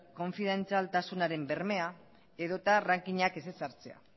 konfidentzialtasunaren bermea edo eta rankinak ez ezartzea